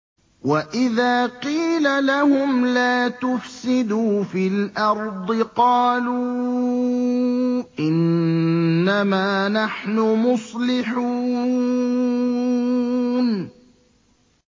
وَإِذَا قِيلَ لَهُمْ لَا تُفْسِدُوا فِي الْأَرْضِ قَالُوا إِنَّمَا نَحْنُ مُصْلِحُونَ